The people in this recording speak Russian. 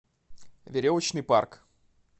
веревочный парк